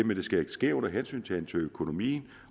men det skal ske under hensyntagen til økonomien